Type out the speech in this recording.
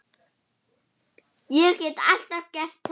Hann drakk.